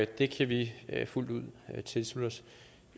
det kan vi fuldt ud tilslutte os